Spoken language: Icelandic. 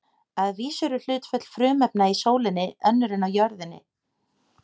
Að vísu eru hlutföll frumefna í sólinni önnur en á jörðinni.